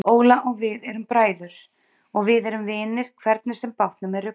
Óla og við erum bræður og við erum vinir hvernig sem bátnum er ruggað.